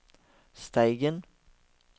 Steigen